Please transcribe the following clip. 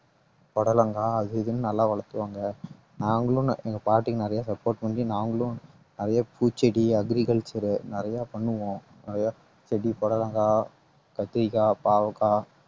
புடலங்காய் அது இதுன்னு நல்லா வளர்த்துவாங்க நாங்களும் நா~ எங்க பாட்டி நிறைய support பண்ணி நாங்களும் நிறைய பூச்செடி agriculture நிறைய பண்ணுவோம் நிறைய செடி புடலங்காய், கத்திரிக்காய், பாவக்காய்